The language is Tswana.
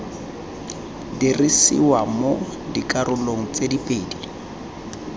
dirisiwa mo dikarolong tse pedi